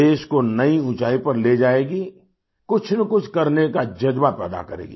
देश को नई ऊँचाई पर ले जाएगी कुछनकुछ करने का जज्बा पैदा करेगी